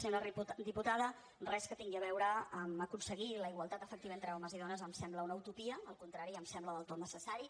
senyora diputada res que tingui a veure amb aconseguir la igualtat efectiva entre homes i dones em sembla una utopia al contrari em sembla del tot necessari